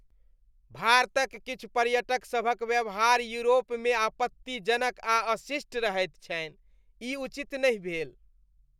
भारतक किछु पर्यटकसभक व्यवहार यूरोपमे आपत्तिजनक आ अशिष्ट रहैत छनि। ई उचित नहि भेल।